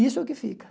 Isso é o que fica.